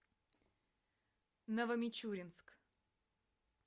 новомичуринск